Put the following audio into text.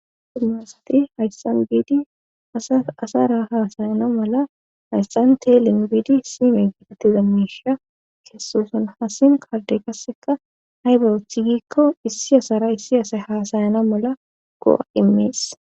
Suma asati hayssan biidi asara haasayana mala hayssan te lin biidi sime gitetti dammisha kessoson hasin kaalde kasseka haybarothigikko issi asara issi asay haasayana mala ko7a imees